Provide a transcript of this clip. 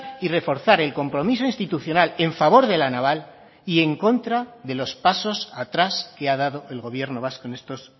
y reforzar el compromiso institucional en favor de la naval y en contra de los pasos atrás que ha dado el gobierno vasco en estos